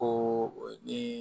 Ko ni